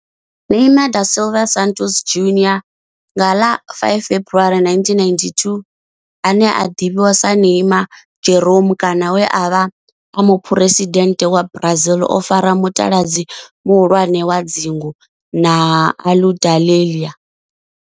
Neymar da Silva Santos Junior nga ḽa 5 February 1992, ane a ḓivhiwa sa Neymar Jeromme kana we a vha e muphuresidennde wa Brazil o fara mutaladzi muhulwane wa dzingu na Aludalelia.